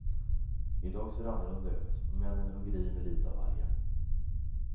I dag ser det annorlunda ut, männen hugger i med lite av varje.